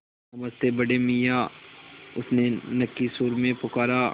नमस्ते बड़े मियाँ उसने नक्की सुर में पुकारा